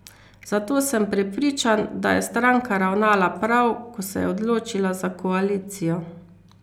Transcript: Zato sem prepričan, da je stranka ravnala prav, ko se je odločila za koalicijo.